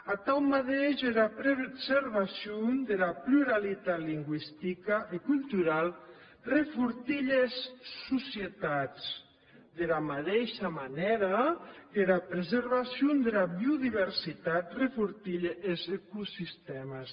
atau madeish era preservacion dera pluralitat lingüistica e culturau refortilhe es societats dera madeisha manèra qu’era preservacion dera biodiversitat refortilhe es ecosistèmes